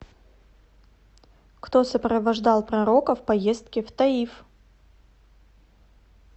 кто сопровождал пророка в поездке в таиф